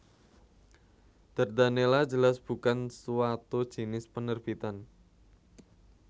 Dardanella jelas bukan suatu jinis penerbitan